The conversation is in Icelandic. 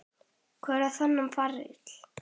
Hver á þennan feril?